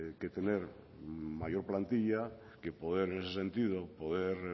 que tener mayor plantilla que poder en ese sentido poder